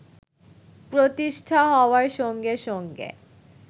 প্রতিষ্ঠা হওয়ার সঙ্গে সঙ্গে